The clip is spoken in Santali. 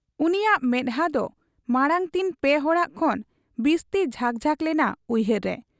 ᱩᱱᱤᱭᱟᱜ ᱢᱮᱫᱦᱟᱸ ᱫᱚ ᱢᱟᱬᱟᱝᱛᱤᱱ ᱯᱮ ᱦᱚᱲᱟᱜ ᱠᱷᱚᱱ ᱵᱤᱥᱛᱤ ᱡᱷᱟᱠ ᱡᱷᱟᱠ ᱞᱮᱱᱟ ᱩᱭᱦᱟᱹᱨ ᱨᱮ ᱾